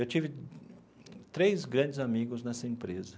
Eu tive três grandes amigos nessa empresa.